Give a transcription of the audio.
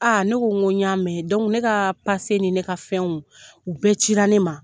ne ko n ko y'a mɛn ne ka ni? ne ka fɛn u bɛɛ cira ne ma.